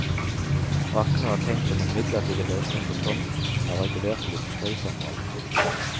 Brakkene var tenkt som en midlertidig løsning på tomten som er regulert til industriformål.